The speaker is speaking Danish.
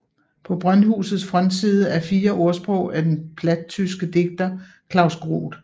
På brøndhusets frontside er fire ordsprog af den platttyske digter Klaus Groth